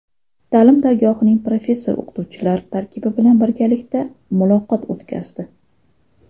Ta’lim dargohining professor-o‘qituvchilar tarkibi bilan birgalikda muloqotlar o‘tkazdi.